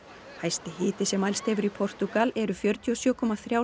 hæsti hiti sem mælst hefur í Portúgal eru fjörutíu og sjö komma þrjár